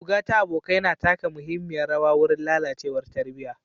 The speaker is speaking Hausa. Zuga ta abokai na taka muhimmiyar rawa wurin lalacewar tarbiyya.